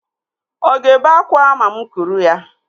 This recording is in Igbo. Ọ ga-ebe akwa ma mụ kuru ya?